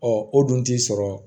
Ɔ o dun t'i sɔrɔ